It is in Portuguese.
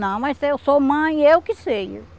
Não, mas eu sou mãe, eu que sei.